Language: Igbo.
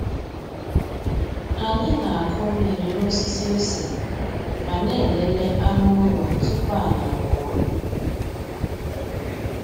Anyị na-akụ mmiri n’osisi ose ma na-elele anụ ụlọ tupu anyị apụọ.